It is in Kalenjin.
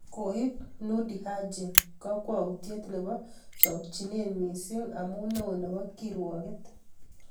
Koib Noordin Haji kakwautiet nebo chokchinet missing amu neo nebo kirwoket